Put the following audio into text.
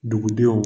Dugudenw